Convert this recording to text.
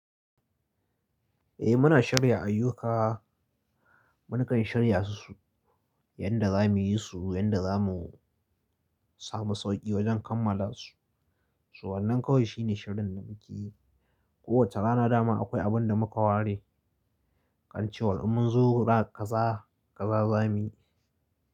Eh muna shirya ayyuka, mu kan shirya su, yanda zamuyi su, yanda zamu samu sauƙi wajen kammala su. So wannan kawai shine shirin da muke. Ko wace rana dama akwai abun da muka ware. Kan ce wan ummun zu ra kaza, kaza zamuyi.